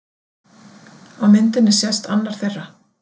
Á myndinni sést annar þeirra.